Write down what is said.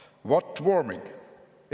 ".